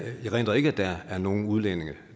jeg erindrer ikke at der er nogen udlændinge